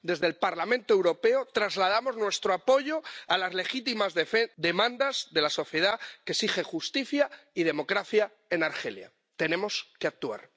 Desde el Parlamento Europeo trasladamos nuestro apoyo a las legítimas demandas de la sociedad que exige justicia y democracia en Argelia. Tenemos que actuar.